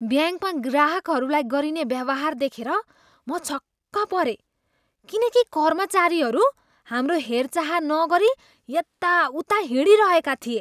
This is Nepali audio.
ब्याङ्कमा ग्राहकहरूलाई गरिने व्यवहार देखेर म छक्क परेँ किनकि कर्मचारीहरू हाम्रो हेरचाह नगरी यताउता हिँडिरहेका थिए।